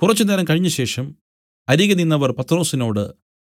കുറച്ചുനേരം കഴിഞ്ഞശേഷം അരികെ നിന്നവർ പത്രൊസിനോട്